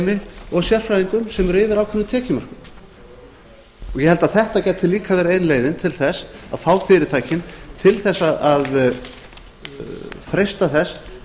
stjórnendateymum og sérfræðingum sem eru yfir ákveðnum tekjumörkum ég held að þetta gæti líka verið ein leiðin til þess að fá fyrirtækin til þess að freista þess